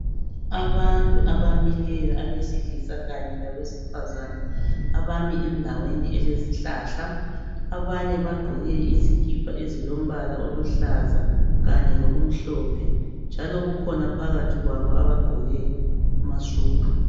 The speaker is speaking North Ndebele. Abantu abamileyo abesilisa kanye labesifazana abami endaweni elezihlahla. Abanye bagqoke izikipa ezilombala oluhlaza kanye lokumhlophe njalo kukhona phakathi kwabo abagqoke amasudu.